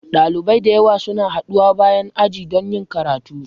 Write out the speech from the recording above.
Dalibai da yawa suna haɗuwa bayan aji don yin karatu.